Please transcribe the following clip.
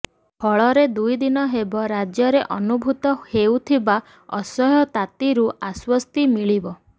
ଫଳରେ ଦୁଇଦିନ ହେବ ରାଜ୍ୟରେ ଅନୁଭୂତ ହେଉଥିବା ଅସହ୍ୟ ତାତିରୁ ଆଶ୍ୱସ୍ତି ମିଳିବ